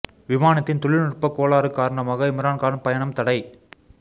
விமானத்தின் தொழில் நுட்ப கோளாறு காரணமாக இம்ரான் கான் பயணம் தடை